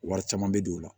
Wari caman bɛ don o la